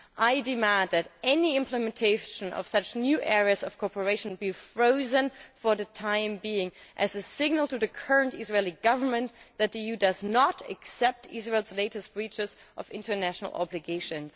I demand that any implementation of new areas of cooperation be frozen for the time being as a signal to the current Israeli Government that the EU does not accept Israel's latest breaches of international obligations.